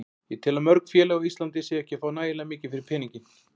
Ég tel að mörg félög á Íslandi séu ekki að fá nægilega mikið fyrir peninginn.